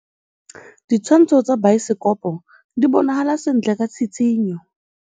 Ditshwantshô tsa biosekopo di bonagala sentle ka tshitshinyô.